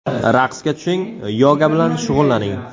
Raqsga tushing, yoga bilan shug‘ullaning.